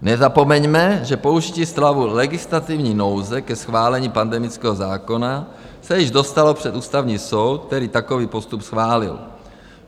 Nezapomeňme, že použití stavu legislativní nouze ke schválení pandemického zákona se již dostalo před Ústavní soud, který takový postup schválil.